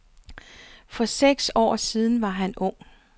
For seks år siden var han ung.